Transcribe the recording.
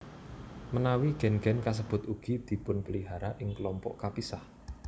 Menawi gen gen kasebut ugi dipunpelihara ing kelompok kapisah